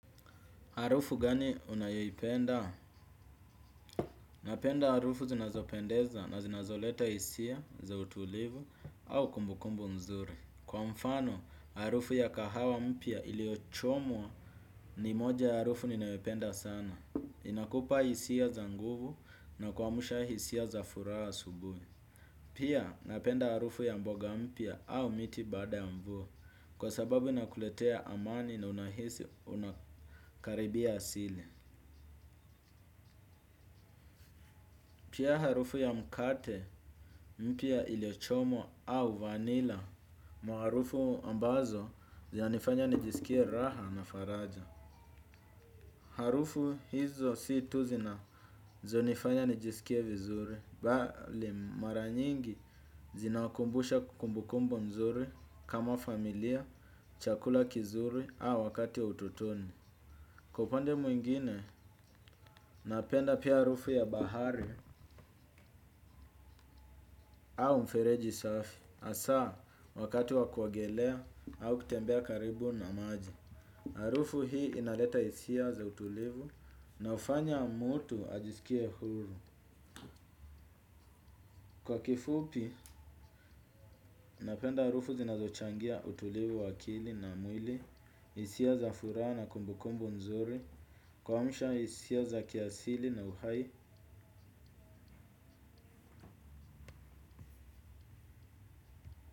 Harufu gani unayoipenda? Napenda harufu zinazopendeza na zinazoleta hisia za utulivu au kumbukumbu mzuri. Kwa mfano, harufu ya kahawa mpya iliochomwa ni moja ya harufu ninaoyopenda sana. Inakupa hisia za nguvu na kuamsha hisia za furaha asubuhi. Pia, napenda harufu ya mboga mpya au miti baada ya mvua. Kwa sababu inakuletea amani na unahisi unakaribia asili. Pia harufu ya mkate mpya iliochomwa au vanilla. Maharufu ambazo zinanifanya nijisikie raha na faraja. Harufu hizo si tu zinazonifanya nijisikie vizuri. Bali mara nyingi zinawakumbusha kumbukumbu nzuri kama familia, chakula kizuri au wakati wa utotoni. Kwa upande mwingine napenda pia harufu ya bahari au mfereji safi. Hasa, wakati wa kuogelea au kutembea karibu na maji. Harufu hii inaleta hisia za utulivu na hufanya mtu ajisikie huru. Kwa kifupi, napenda harufu zinazochangia utulivu wa akili na mwili, hisia za furaha na kumbukumbu nzuri, kuamsha hisia za kiasili na uhai.